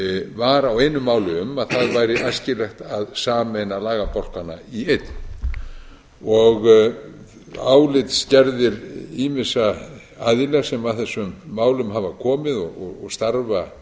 var á einu máli um að það væri æskilegt að sameina lagabálkana í einn álitsgerðir ýmissa aðila sem að þessum málum hafa komið og starfa